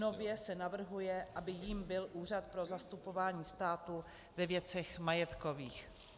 Nově se navrhuje, aby jím byl Úřad pro zastupování státu ve věcech majetkových.